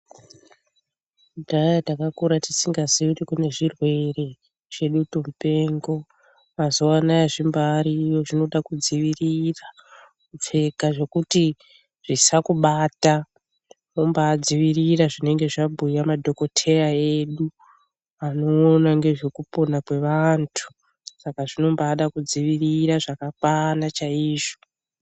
Kudhaya takakura tisingaziyi kuti kune zvirwere zvedutu mupengo mazuwaanaya zvimbariyo zvinoita kudzivirira kupfeka zvekuti zvisakubata wombadzivirira zvinenge zvabhuya madhokodheya edu vanoona ngezvekupona kwevanthu saka zvinombaada kudzivirira zvakakwana chaizvo .